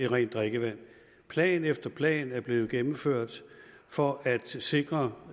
rent drikkevand plan efter plan er blevet gennemført for at sikre